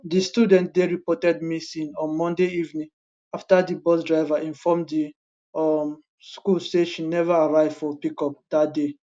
di student dey reported missing on monday evening afta di bus driver inform di um school say she never arrive for pick up dat day